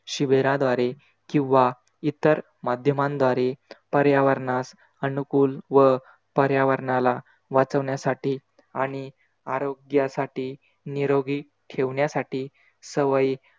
शिबिराद्वारे किवा इतर माध्यमांद्वारे पर्यावरणास अनुकूल व पर्यावरणाला वाचवण्यासाठी आणि आरोग्यासाठी निरोगी ठेवण्यासाठी सवयी